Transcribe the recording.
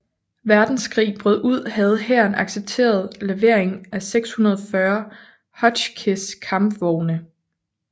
Verdenskrig brød ud havde hæren accepteret levering af 640 Hotchkiss kampvogne